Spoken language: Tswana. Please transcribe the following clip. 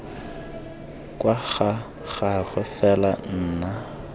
kwa ga gagwe fela nna